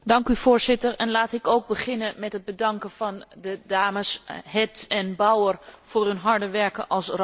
Laat ik beginnen met het bedanken van de dames Hedh en Bauer voor hun harde werken als corapporteurs.